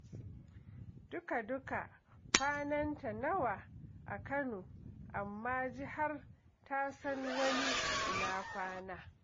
Duka-duka kwananta nawa a Kano, amma ji har ta san wani ina kwana.